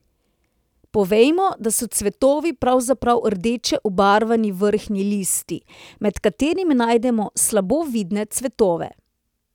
Povejmo, da so cvetovi pravzaprav rdeče obarvani vrhnji listi, med katerimi najdemo slabo vidne cvetove.